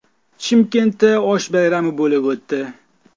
Chimkentda osh bayrami bo‘lib o‘tdi.